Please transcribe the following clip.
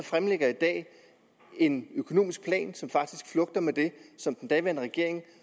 i en økonomisk plan som faktisk flugter med den som den daværende regering